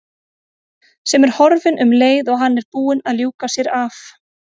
Sem er horfin um leið og hann er búinn að ljúka sér af.